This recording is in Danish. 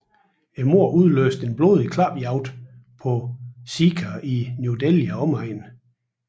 Mordet udløste en blodig klapjagt på sikher i New Delhi og omegn